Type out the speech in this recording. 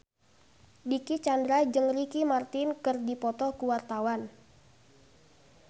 Dicky Chandra jeung Ricky Martin keur dipoto ku wartawan